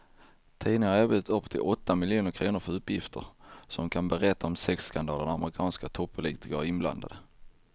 Tidningen har erbjudit upp till åtta miljoner kr för uppgifter som kan berätta om sexskandaler där amerikanska toppolitiker är inblandade.